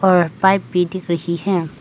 और पाइप भी दिख रही है।